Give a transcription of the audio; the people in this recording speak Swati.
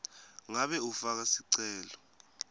ngabe ufaka sicelo